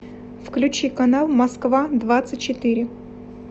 включи канал москва двадцать четыре